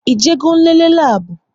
Ị je go nlele labu?